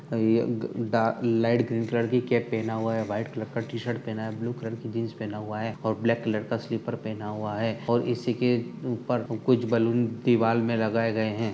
ए ग डा light green colour की कैप पहना हुआ है। वाइट कलर का टी-शर्ट पहना है। ब्लू कलर की जींस पहना हुआ है और ब्लैक कलर का स्लीपर पहना हुआ है और इसी के ऊपर कुछ बलून दीवाल में लगाये गए हैं।